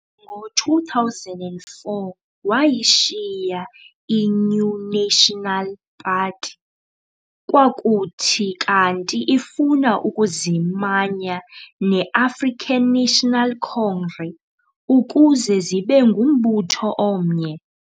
Ngo-2004, wayishiya iNew National Party, kwakuthi kanti ifuna ukuzimanya ne-African National Congre ukuze zibe ngumbutho omnye.